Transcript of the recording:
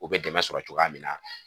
U bɛ dɛmɛ sɔrɔ cogoya min na